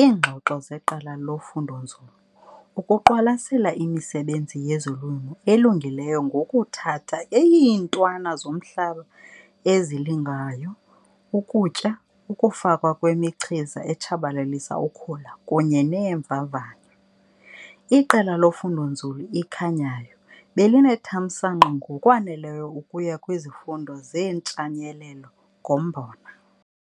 iingxoxo zeqela lofundo-nzulu, ukuqwalasela imisebenzi yezolimo elungileyo ngokuthatha iintwana zomhlaba ezilingayo, ukutya, ukufakwa kwemichiza etshabalalisa ukhula kunye neemvavanyo. Iqela lofundo-nzulu iKhanyayo belinethamsanqa ngokwaneleyo ukuya kwizifundo zeeNtshayelelo ngoMbona.